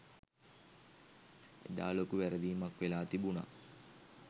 එදා ලොකු වැරදීමක් වෙලා තිබුණා.